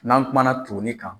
N'an kuma na toni kan.